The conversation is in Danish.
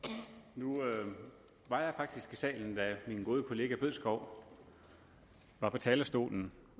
nu var jeg faktisk i salen da min gode kollega herre bødskov var på talerstolen